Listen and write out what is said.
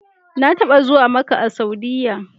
Na taɓa zuwa Makka a Saudiyya.